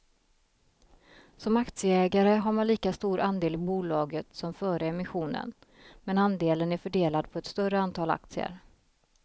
Som aktieägare har man lika stor andel i bolaget som före emissionen, men andelen är fördelad på ett större antal aktier.